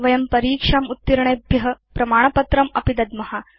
वयं परीक्षाम् उत्तीर्णेभ्य प्रमाणपत्रमपि दद्म